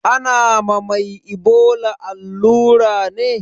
Ana ma mai ibola allura ne?